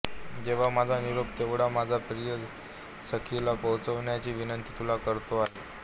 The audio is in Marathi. तेव्हा माझा निरोप तेवढा माझ्या प्रिय सखीला पोहोचवण्याची विनंती तुला करतो आहे